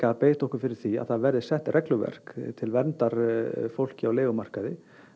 að beita okkur fyrir því að það verði sett regluverk til verndar fólki á leigumarkaði